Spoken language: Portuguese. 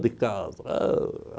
De casa. Ôh!